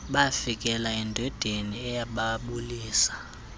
bafikela endodeni eyababulisa